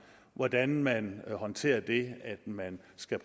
hvordan man håndterer det at man skal